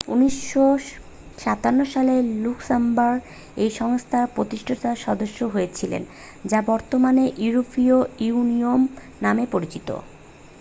1957 সালে লুক্সেমবার্গ এই সংস্থার প্রতিষ্ঠাতা সদস্য হয়েছিলেন যা বর্তমানে ইউরোপীয় ইউনিয়ন নামে পরিচিত